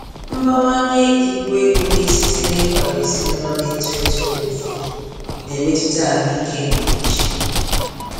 Mbawanye ibu ego na-esite n'ịkwado ezinụlọ na-eto eto oge ụfọdụ na-emetụta ahụike nke uche.